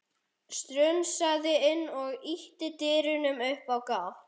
Strunsaði inn og ýtti dyrunum upp á gátt.